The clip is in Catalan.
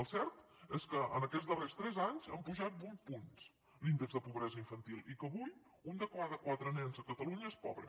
el cert és que aquests darrers tres anys ha pujat vuit punts l’índex de pobresa infantil i que avui un de cada quatre nens de catalunya és pobre